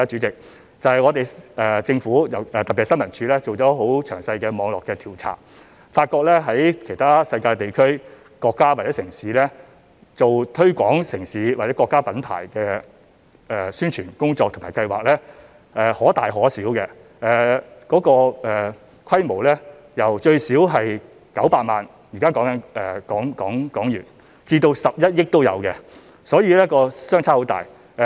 政府，特別是新聞處進行了很詳細的網絡調查，發覺在世界其他地區、國家或城市，進行推廣城市或國家品牌的宣傳工作和計劃所需的費用可大可小，由最少900萬港元至11億港元不等，所以這方面的差異極大。